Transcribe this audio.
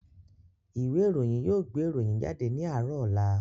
Ìwé ìròyìn yóò gbé ìròyìn jáde ní àárọ̀ ọ̀la